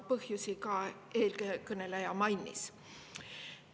Põhjusi eelkõneleja mainis.